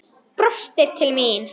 Brostir til mín.